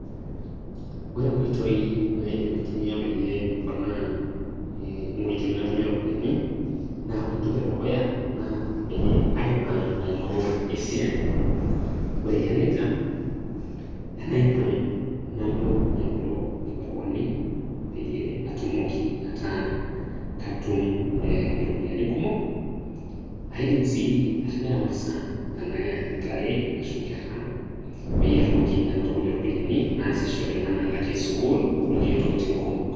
Ore inkoitoi naidim aitumia peyie aponaa e inkoitoi natumie iropiyiani, na ore entoki edukuya, na peyie aipang' aing'oru esiai. Ore eyia nejia, enaipang' nalo aing'oru inkibaruani, peyie atumoki ataa katum e iropiyiani kumok. Aidim si atimira masaa, enake intare, ashu nkera, peyie atumoki anoto kulie ropiyaiani naasishore, enakalakie sukuul okulie tokiting' kumok.